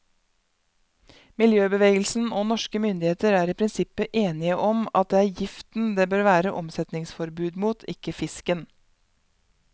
Miljøbevegelsen og norske myndigheter er i prinsippet enige om at det er giften det bør være omsetningsforbud mot, ikke fisken.